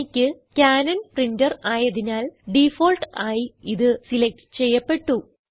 എനിക്ക് Canon printer ആയതിനാൽ default ആയി ഇത് സിലക്റ്റ് ചെയ്യപ്പെട്ടു